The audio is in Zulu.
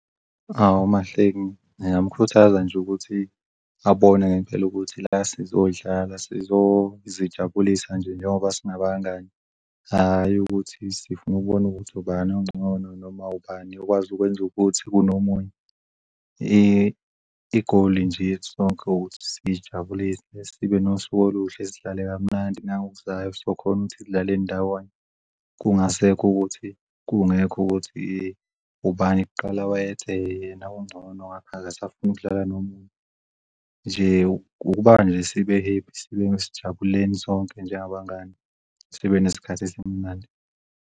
Hawu MaHlengi, ngingamkhuthaza nje ukuthi abone ngempela ukuthi la sizodlala siyozijabulisa nje njengoba singabangani, hhayi ukuthi sifuna ukubona ukuthi ubani ongcono noma ubani ukwazi ukwenza ukuthi kunomunye, igoli nje yethu sonke ukuthi siyijabulise sibe nosuku oluhle sidlale kamnandi nangokuzayo so khona ukuthi sidlale ndawonye. Kungasekho ukuthi, kungekho ukuthi ubani kuqala wayethe yena ungcono ngakho akasafuni ukudlala nomunye, nje ukuba nje sibe-happy sibe sijabuleni sonke njengabangani. sibe nesikhathi esimnandi.